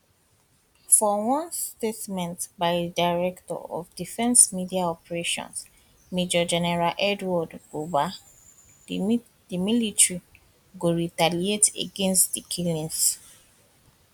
for one statement by di director of defence media operations major general edward buba di military go retaliate against di killings